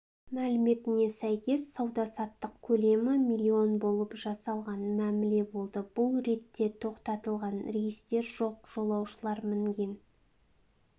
мәліметіне сәйкес сауда-саттық көлемі млн болып жасалған мәміле болды бұл ретте тоқтатылған рейстер жоқ жолаушылар мінген